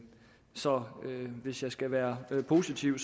så hvis jeg skal være positiv